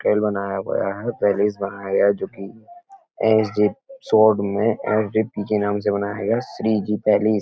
hotel बनाया हुआ है पैलिस बनाया गया है जोकि एस जी रिज़ॉर्ट में एस जी पी के नाम से बनाया गया है श्री जी पैलिस --